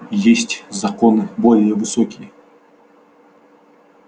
есть законы более высокие